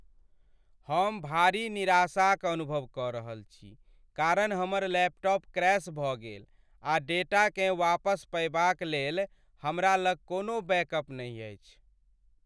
हम भारी निराशाक अनुभव कऽ रहल छी कारण हमर लैपटॉप क्रैश भऽ गेल आ डेटाकेँ वापस पयबाक लेल हमरा लग कोनो बैकअप नहि अछि।